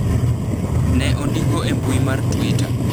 !.." ne ondiko e mbui mar twitter.